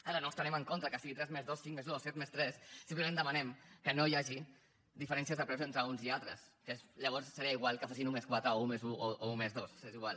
ara no estarem en contra que sigui tres+dos cinc+dos o set+tres simplement demanem que no hi hagi diferències de preus entre uns i altres que llavors seria igual que fossin un+quatre o un+un o un+dos és igual